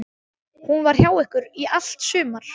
Hún var hjá ykkur í allt sumar.